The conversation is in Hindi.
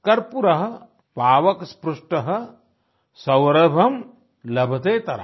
कर्पूर पावक स्पृष्ट सौरभं लभतेतराम